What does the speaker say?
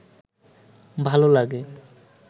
ভাল লাগে